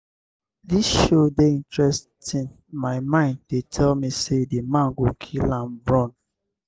dis show dey interesting my mind dey tell me say the man go kill am run.